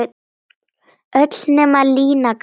Öll nema Lína gamla.